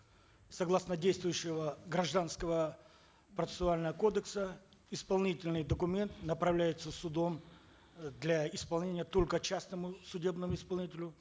согласно действующего гражданского процессуального кодекса исполнительный документ направляется судом э для исполнения только частному судебному исполнителю